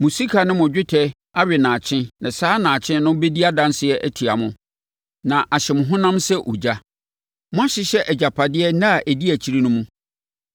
Mo sika ne mo dwetɛ awe nnaakye na saa nnaakye no bɛdi adanseɛ atia mo, na ahye mo honam sɛ ogya. Moahyehyɛ agyapadeɛ nna a ɛdi akyire no mu.